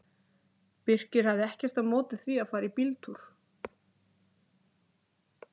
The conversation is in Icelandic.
Birkir hafði ekkert á móti því að fara í bíltúr.